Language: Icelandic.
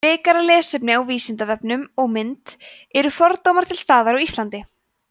frekara lesefni á vísindavefnum og mynd eru fordómar til staðar á íslandi